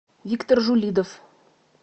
виктор жулидов